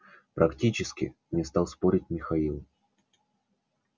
практически не стал спорить михаил